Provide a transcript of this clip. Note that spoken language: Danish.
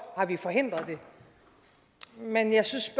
har vi forhindret det men jeg synes